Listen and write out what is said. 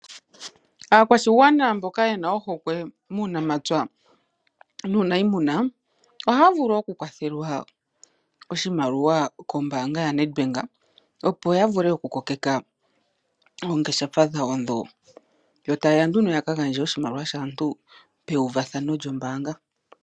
Aakwashigwana mboka yena ohokwe muunamapya niinimuna, ohaya vulu oku kwathelwa oshimaliwa kombaanga yoNedbank, opo ya vule oku kokeka oongeshefa dhawo dho. Yo tayeya nduno ya ka gandje oshimaliwa shaantu peuvathano lyombaanga.